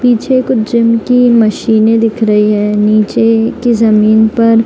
पीछे एक जिम की मशीनें दिख रही है नीचे की जमीन पर।